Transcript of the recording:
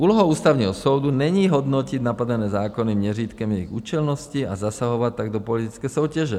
Úlohou Ústavního soudu není hodnotit napadené zákony měřítkem jejich účelnosti, a zasahovat tak do politické soutěže.